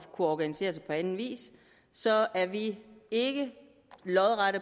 organisere sig på anden vis så er vi ikke lodret